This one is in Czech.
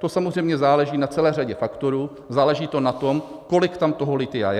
To samozřejmě záleží na celé řadě faktorů, záleží to na tom, kolik tam toho lithia je.